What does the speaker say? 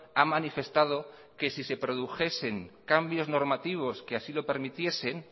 ha manifestado que si se produjesen cambios normativos que así lo permitiesen